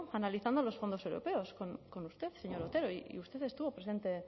analizando los fondos europeos con usted señor otero y usted estuvo presente